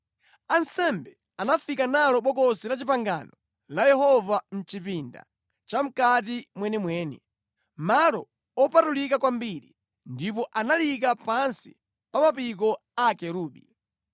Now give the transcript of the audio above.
Ansembe anafika nalo Bokosi la Chipangano la Yehova mʼchipinda chamʼkati mwenimweni, Malo Opatulika Kwambiri, ndipo analiyika pansi pa mapiko a akerubi.